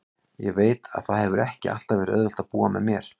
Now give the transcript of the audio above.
Ég veit að það hefur ekki alltaf verið auðvelt að búa með mér.